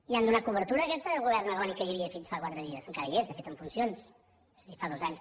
hi han donat cobertura a aquest govern agònic que hi havia fins fa quatre dies que encara hi és de fet en funcions